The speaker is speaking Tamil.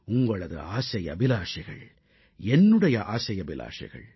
உங்களது ஆசை அபிலாஷைகள் என்னுடைய ஆசை அபிலாஷைகள்